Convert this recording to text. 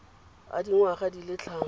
a dingwaga di le tlhano